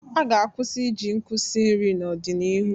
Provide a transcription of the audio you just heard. A ga-kwụsị iji nkụ si nri n'ọdịnihu.